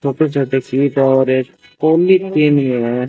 छोटे छोटे क्लिप और एक ओनली कैमियो --